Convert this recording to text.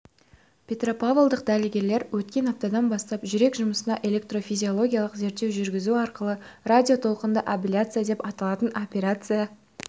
петропавлдық дәрігерлер өткен аптадан бастап жүрек жұмысына электрофизиологиялық зерттеу жүргізу арқылы радиотолқынды абляция деп аталатын операция